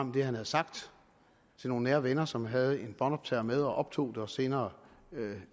hvad han havde sagt til nogle nære venner som havde en båndoptager med og optog det og senere